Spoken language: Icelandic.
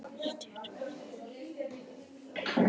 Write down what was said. Heimir Már Pétursson: Styrkir það stöðu verkalýðshreyfingarinnar?